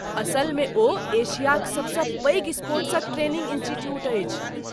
असलमे ओ एशियाक सभ.सँ पैघ स्पोर्ट्स ट्रेनिंग इंस्टीट्यूट अछि।